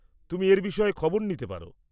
তুমি এর বিষয়ে খবর নিতে পার।